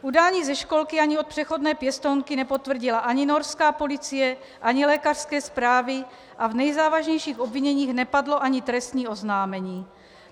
Udání ze školky ani od přechodné pěstounky nepotvrdila ani norská policie ani lékařské zprávy a v nejzávažnějších obviněních nepadlo ani trestní oznámení.